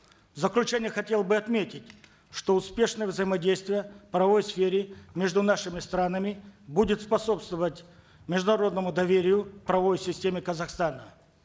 в заключение хотел бы отметить что успешное взаимодействие в правовой сфере между нашими странами будет способствовать международному доверию в правовой системе казахстана